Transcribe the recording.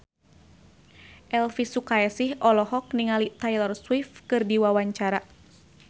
Elvi Sukaesih olohok ningali Taylor Swift keur diwawancara